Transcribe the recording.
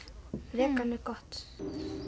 vegan er gott